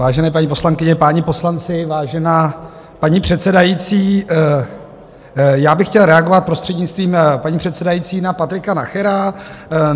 Vážené paní poslankyně, páni poslanci, vážená paní předsedající, já bych chtěl reagovat, prostřednictvím paní předsedající, na Patrika Nachera.